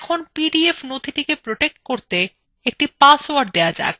এখন পিডিএফ নথিটি protect করতে একটি পাসওয়ার্ড দেওয়া যাক